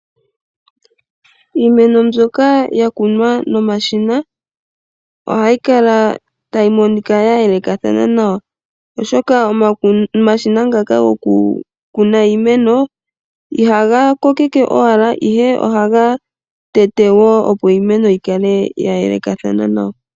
Iimeno mbyok yakunw nomashina ohayi kala tayi monika ya yelekana nawa oshoka omashina ngaka gokukuna iimeno ihaga kokeke owala ihe ohaga tete woo opo iimeno yikale ya yelekathana nawa.